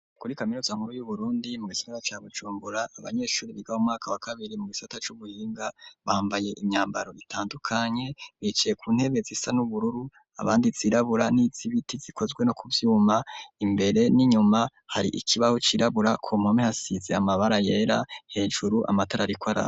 Kuri kaminuza nkuru y'uBurundi mugisagara ca Bujumbura, abanyeshuri biga mu mwaka wa kabiri mu gisata c'ubuhinga bambaye imyambaro itandukanye bicaye ku ntebe zisa n'ubururu abandi zirabura niz'ibiti zikozwe no kuvyuma imbere n'inyuma hari ikibaho c'irabura ,kompome hasize amabara yera, hejuru amatar'arikw'araka.